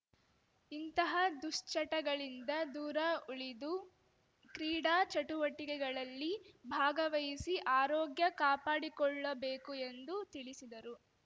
ಇಂತಹ ದುಶ್ಚಟಗಳಿಂದ ದೂರ ಉಳಿದು ಕ್ರೀಡಾ ಚಟುವಟಿಕೆಗಳಲ್ಲಿ ಭಾಗವಹಿಸಿ ಆರೋಗ್ಯ ಕಾಪಾಡಿಕೊಳ್ಳಬೇಕು ಎಂದು ತಿಳಿಸಿದರು